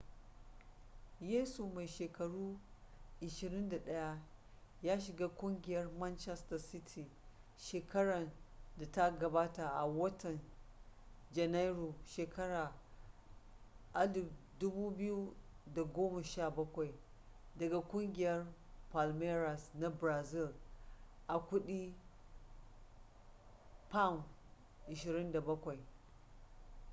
yesu mai shekaru 21 ya shiga kungiyar manchester city shekaran da ta gabata a watan janairu shekara 2017 daga kugiyar palmeiras na brazil a kudi £27